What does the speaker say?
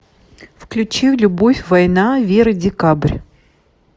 включи любовь война вера декабрь